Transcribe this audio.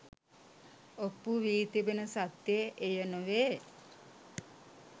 ඔප්පු වී තිබෙන සත්‍යය එය නොවේ